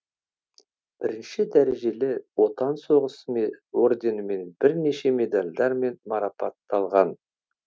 бірінші дәрежелі отан соғысы орденімен бірнеше медальдармен марапатталған